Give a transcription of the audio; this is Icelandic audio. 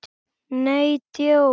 Nei, djók.